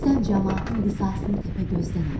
Sən camaatın qisasını Təpəgözdən aldın.